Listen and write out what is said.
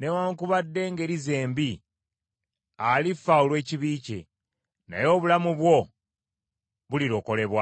newaakubadde engeri ze embi, alifa olw’ekibi kye, naye obulamu bwo bulilokolebwa.